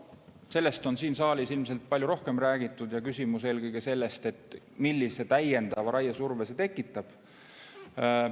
Sellest on siin saalis ilmselt palju rohkem räägitud ja küsimus on eelkõige selles, millise täiendava raiesurve see tekitab.